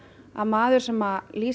að maður sem lýsir